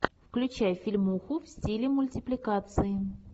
включай фильмуху в стиле мультипликации